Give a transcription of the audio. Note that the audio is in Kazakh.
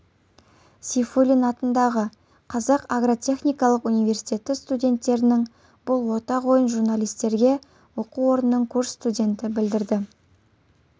сейфуллин атындағы қазақ агротехникалық университеті студенттерінің бұл ортақ ойын журналистерге оқу орнының курс студенті білдірді